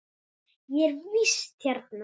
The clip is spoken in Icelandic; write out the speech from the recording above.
Ég er í vist hérna.